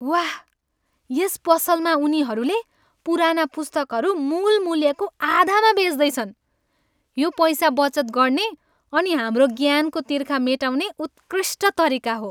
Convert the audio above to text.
वाह! यस पसलमा उनीहरूले पुराना पुस्तकहरू मूल मूल्यको आधामा बेच्दैछन्। यो पैसा बचत गर्ने अनि हाम्रो ज्ञानको तिर्खा मेटाउने उत्कृष्ट तरिका हो।